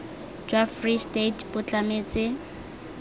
jwa free state bo tlametse